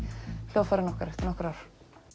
hljóðfærin okkar eftir nokkur ár